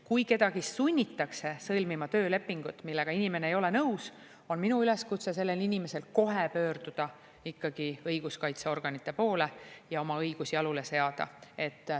Kui kedagi sunnitakse sõlmima töölepingut, millega inimene ei ole nõus, on minu üleskutse sellele inimesele kohe pöörduda ikkagi õiguskaitseorganite poole ja oma õigus jalule seada.